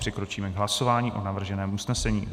Přikročíme k hlasování o navrženém usnesení.